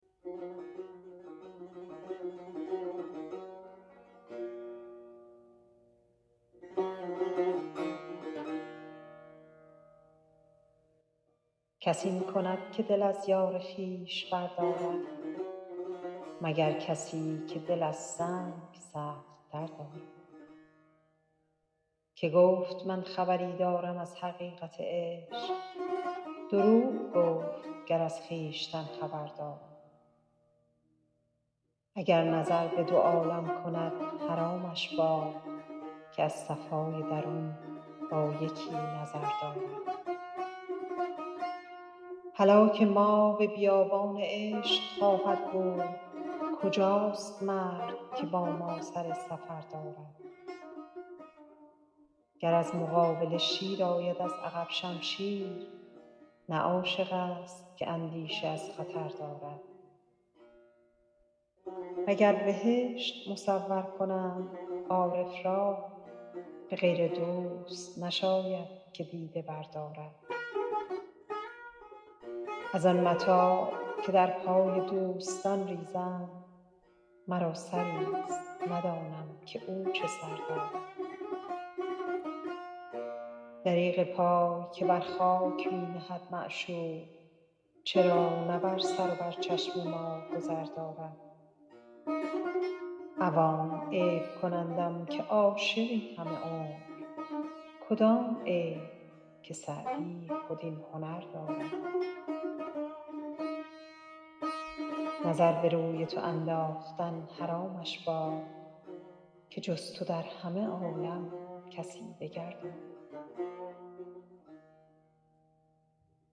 کس این کند که دل از یار خویش بردارد مگر کسی که دل از سنگ سخت تر دارد که گفت من خبری دارم از حقیقت عشق دروغ گفت گر از خویشتن خبر دارد اگر نظر به دو عالم کند حرامش باد که از صفای درون با یکی نظر دارد هلاک ما به بیابان عشق خواهد بود کجاست مرد که با ما سر سفر دارد گر از مقابله شیر آید از عقب شمشیر نه عاشق ست که اندیشه از خطر دارد و گر بهشت مصور کنند عارف را به غیر دوست نشاید که دیده بردارد از آن متاع که در پای دوستان ریزند مرا سری ست ندانم که او چه سر دارد دریغ پای که بر خاک می نهد معشوق چرا نه بر سر و بر چشم ما گذر دارد عوام عیب کنندم که عاشقی همه عمر کدام عیب که سعدی خود این هنر دارد نظر به روی تو انداختن حرامش باد که جز تو در همه عالم کسی دگر دارد